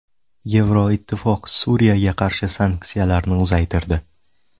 Yevroittifoq Suriyaga qarshi sanksiyalarni uzaytirdi.